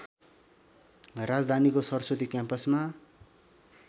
राजधानीको सरस्वती क्याम्पसमा